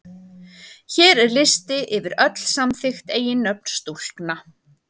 Hér er listi yfir öll samþykkt eiginnöfn stúlkna.